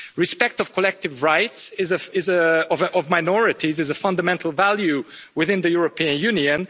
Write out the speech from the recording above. Respecting the collective rights of minorities is a fundamental value within the European Union.